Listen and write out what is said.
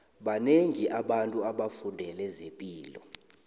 banengi abantu abafundele zepilo